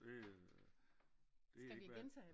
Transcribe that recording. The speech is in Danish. Det øh det ikke hvad